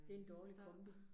Det en dårlig kombi